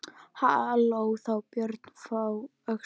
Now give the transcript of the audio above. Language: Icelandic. Hló þá Björn frá Öxl.